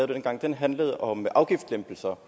dengang handlede om afgiftslempelser